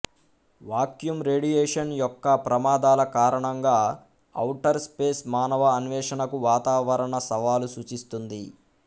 vacuum radiation యొక్క ప్రమాదాల కారణంగా ఔటర్ స్పేస్ మానవ అన్వేషణకు వాతావరణ సవాలు సూచిస్తుంది